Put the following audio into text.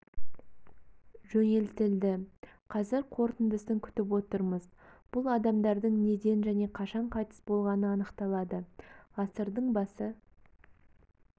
жөнелтілді қазір қорытындысын күтіп отырмыз бұл адамдардың неден және қашан қайтыс болғаны анықталады ғасырдың басы